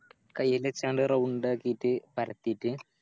കൈല് വെച്ചാണ്ട് Round ആക്കിറ്റ് പരത്തിറ്റ്